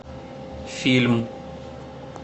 фильм